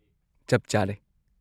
ꯆꯞ ꯆꯥꯔꯦ!